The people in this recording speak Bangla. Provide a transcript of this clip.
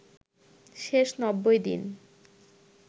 শেষ ৯০ দিন